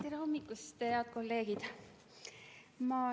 Tere hommikust, head kolleegid!